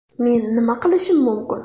Men nima qilishim mumkin?